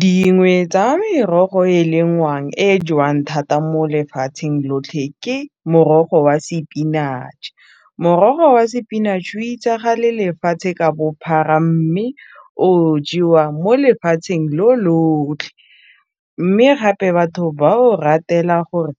Dingwe tsa merogo e lengwang e jewang thata mo lefatsheng lotlhe ke morogo wa sepinatšhe, morogo wa sepinatšhe itsagale lefatshe ka bophara mme o jewa mo lefatsheng lo lotlhe, mme gape batho ba o ratela gore